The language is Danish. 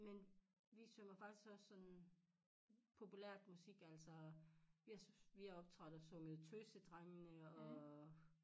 Men vi synger faktisk også sådan populært musik altså vi vi har optrådt og sunget tøsedrengene og